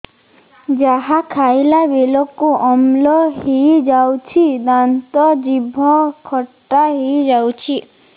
ଯାହା ଖାଇଲା ବେଳକୁ ଅମ୍ଳ ହେଇଯାଉଛି ଦାନ୍ତ ଜିଭ ଖଟା ହେଇଯାଉଛି